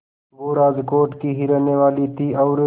वो राजकोट की ही रहने वाली थीं और